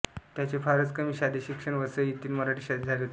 त्यांचे फारच कमी शालेय शिक्षण वसई येथील मराठी शाळेत झाले होते